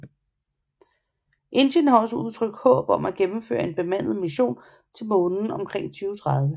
Indien har også udtrykt håb om at gennemføre en bemandet mission til Månen omkring 2030